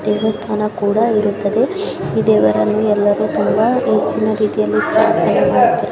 ದೇವಸ್ಥಾನ ಕೂಡ ಇರುತ್ತದೆ ಈ ದೇವರನ್ನು ಎಲ್ಲರು ತುಂಬ ಹೆಚ್ಚಿನ ರೀತಿಯಲ್ಲಿ ಪ್ರಾರ್ಥನೆ ಮಾಡುತ್ತಾರೆ.